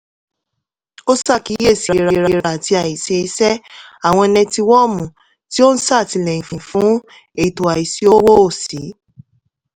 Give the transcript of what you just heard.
ó ṣàkíyèsí àìlera àti àìseése àwọn nẹtiwọ́ọ̀mù tó ń sètìlẹ́yìn fún ètò àìsí owó ó sì